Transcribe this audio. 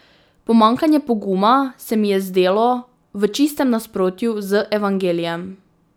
Pomanjkanje poguma se mi je zdelo v čistem nasprotju z Evangelijem.